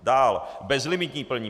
Dál - bezlimitní plnění.